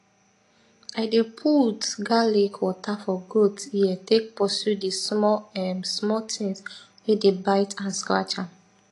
i dey put garlic water for goat ear take pursue di small um small tins wey dey bite and scratch am